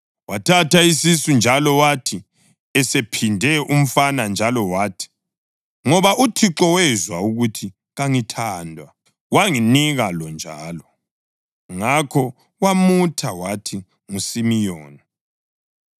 Wathatha isisu njalo, wathi esephinde umfana njalo wathi, “Ngoba uThixo wezwa ukuthi kangithandwa, wanginika lo njalo.” Ngakho wamutha wathi nguSimiyoni.